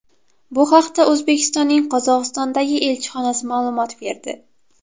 Bu haqda O‘zbekistonning Qozog‘istondagi elchixonasi ma’lumot berdi .